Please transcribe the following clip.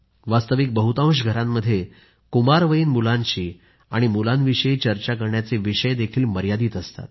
वास्तविक बहुतांश घरांमध्ये कुमारवयीन मुलांशी आणि मुलांविषयी चर्चा करण्याचे विषयही मर्यादित असतात